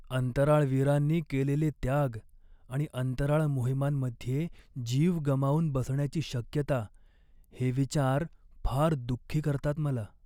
अंतराळवीरांनी केलेले त्याग आणि अंतराळ मोहिमांमध्ये जीव गमावून बसण्याची शक्यता हे विचार फार दुःखी करतात मला.